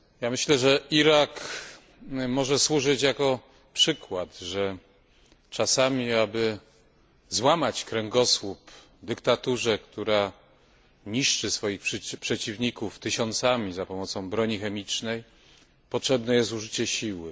Myślę, że Irak może służyć jako przykład, że czasami, aby złamać kręgosłup dyktaturze, która niszczy swoich przeciwników tysiącami za pomocą broni chemicznej, potrzebne jest użycie siły.